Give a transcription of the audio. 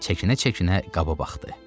Çəkinə-çəkinə qaba baxdı.